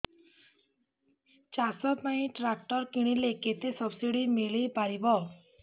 ଚାଷ ପାଇଁ ଟ୍ରାକ୍ଟର କିଣିଲେ କେତେ ସବ୍ସିଡି ମିଳିପାରିବ